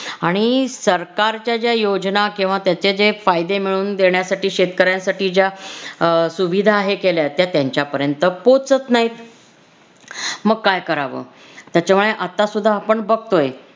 आणि सरकारच्या ज्या योजना किंवा त्याचे जे फायदे मिळवून देण्यासाठी शेतकऱ्यांसाठी ज्या अं सुविधा आहेत केल्या त्या त्यांच्यापर्यंत पोहोचत नाहीत. मग काय करावं त्याच्यामुळे आत्ता सुद्धा आपण बघतोय.